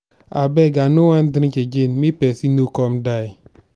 abeg i no wan drink again make person no come die.